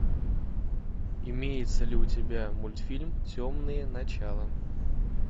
имеется ли у тебя мультфильм темные начала